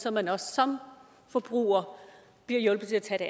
at man også som forbruger bliver hjulpet til at tage det